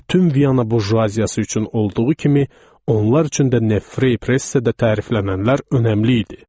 Bütün Viyana burjuaziyası üçün olduğu kimi, onlar üçün də Nefreypressdə təriflənənlər önəmli idi.